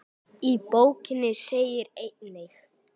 Í bókinni segir einnig